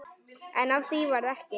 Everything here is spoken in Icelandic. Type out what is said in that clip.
En af því varð ekki.